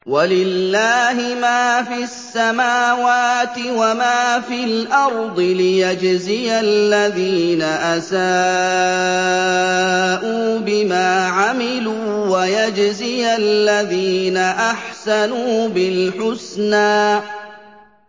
وَلِلَّهِ مَا فِي السَّمَاوَاتِ وَمَا فِي الْأَرْضِ لِيَجْزِيَ الَّذِينَ أَسَاءُوا بِمَا عَمِلُوا وَيَجْزِيَ الَّذِينَ أَحْسَنُوا بِالْحُسْنَى